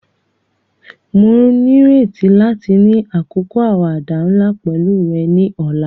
Mo nírètí láti ni àkókò àwàdà nla pẹ̀lu rẹ ni ọ̀la.